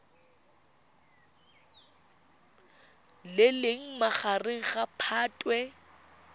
le leng magareng ga phatwe